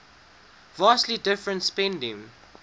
vastly different spending